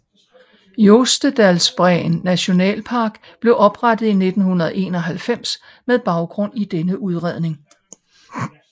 Jostedalsbreen nationalpark blev oprettet i 1991 med baggrund i denne udredning